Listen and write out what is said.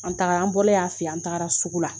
An taara an bolen a fɛ yen an taara sugu la